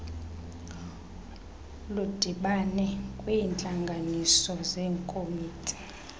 ludibane kwiintlanganiso zekomiti